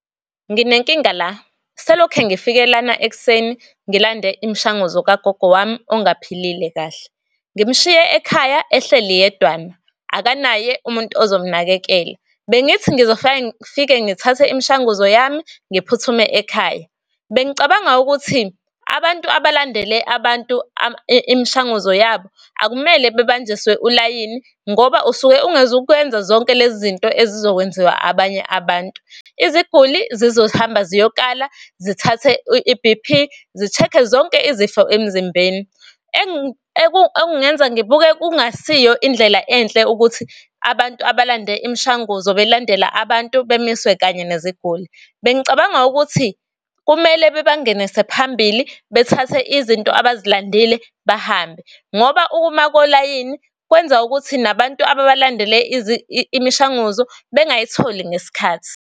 Nginenkinga la, selokhe ngifike lana ekuseni ngilande imshanguzo kagogo wami ongaphilile kahle, ngimshiye ekhaya ehleli yedwana, akanaye umuntu ozomnakekela. Bengithi ngifike ngithathe imshanguzo yami, ngiphuthume ekhaya. Bengicabanga ukuthi abantu abalandele abantu imshanguzo yabo akumele bebanjiswe ulayini, ngoba usuke ungezukwenza zonke lezi zinto ezizokwenziwa abanye abantu. Iziguli zizohamba ziyokala, zithathe i-B_P, zi-check-e zonke izifo emzimbeni. ekungenza ngibuke kungasiyo indlela enhle ukuthi abantu abalande imshanguzo belandela abantu bemiswe kanye neziguli. Bengicabanga ukuthi kumele bebangenise phambili, bethathe izinto abazilandile bahambe, ngoba ukuma kolayini, kwenza ukuthi nabantu ababalandele imishanguzo bengayitholi ngesikhathi.